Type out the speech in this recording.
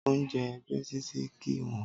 Oúnjẹ ẹ̀gbẹ́ títì kìí wọ́n.